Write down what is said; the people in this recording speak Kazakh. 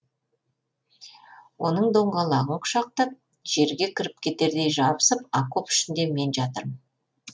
оның доңғалағын құшақтап жерге кіріп кетердей жабысып окоп ішінде мен жатырмын